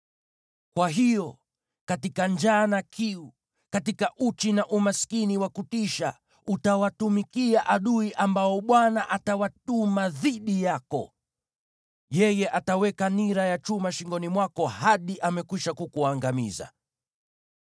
kwa hiyo katika njaa na kiu, katika uchi na umaskini wa kutisha, utawatumikia adui ambao Bwana atawatuma dhidi yako. Yeye ataweka nira ya chuma shingoni mwako hadi amekwisha kukuangamiza.